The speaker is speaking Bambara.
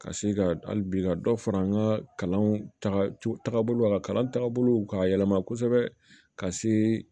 Ka se ka hali bi ka dɔ fara an ka kalan tagabolo la kalan tagabolow k'a yɛlɛma kosɛbɛ ka se